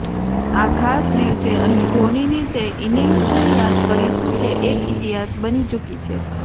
આ ખાસ દિવસે અહી ધોનીની તે ઈનિંગ્સને યાદ કરીશું જે એક ઈતિહાસ બની ચૂકી છે